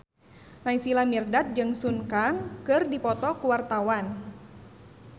Naysila Mirdad jeung Sun Kang keur dipoto ku wartawan